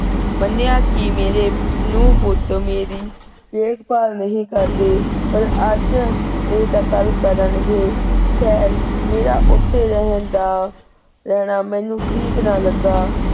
ਮੰਨਿਆਂ ਕੀ ਮੇਰੇ ਨੂੰਹ ਪੁੱਤ ਮੇਰੀ ਦੇਖ ਭਾਲ ਨਹੀਂ ਕਰਦੇ ਪਰ ਅਜ ਨਹੀ ਤਾਂ ਕਲ ਕਰਨਗੇ, ਖੈਰ ਮੇਰਾ ਓਥੇ ਰਹਿਣ ਦਾ ਰਹਿਣਾ ਮੈਨੂੰ ਠੀਕ ਨਾ ਲੱਗਾ।